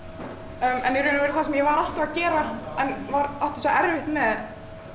en í raun og veru það sem ég var alltaf að gera en átti svo erfitt með